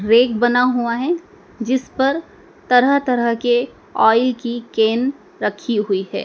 Rake बना हुआ हैं जिस पर तरह तरह के आइल की केन रखी हुई है।